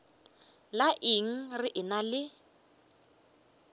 la eng re ena le